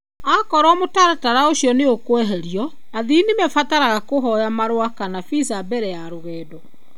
Akorũo mũtaratara ũcio nĩ ũkweherio, athii nĩ mabataraga kũhoya marũa kana visa mbere ya rũgendo.